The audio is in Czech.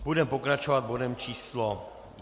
Budeme pokračovat bodem číslo